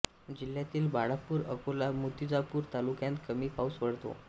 जिल्ह्यातील बाळापूर अकोला मूतिजापूर तालुक्यांत कमी पाऊस पडतो